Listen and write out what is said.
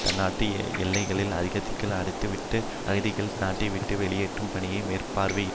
தன் நாட்டு எல்லைகளை அகதிகளுக்கு அடைத்துவிட்டு அகதிகளை நாட்டைவிட்டு வெளியேற்றும் பணியையும் மேற்பார்வையிட்